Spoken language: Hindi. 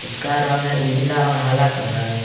इसका रंग है उजला और हरा कलर ।